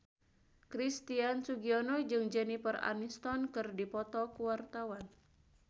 Christian Sugiono jeung Jennifer Aniston keur dipoto ku wartawan